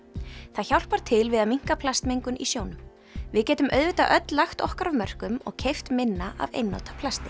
það hjálpar til við að minnka plastmengun í sjónum við getum auðvitað öll lagt okkar af mörkum og keypt minna af einnota plasti